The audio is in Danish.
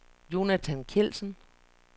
Jonathan Kjeldsen